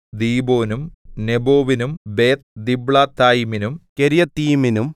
ദീബോനും നെബോവിനും ബേത്ത്ദിബ്ളാത്തയീമിനും കിര്യത്തയീമിനും